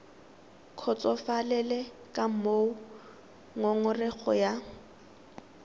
kgotsofalele ka moo ngongorego ya